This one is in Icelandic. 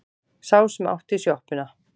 Sá sem átti sjoppuna.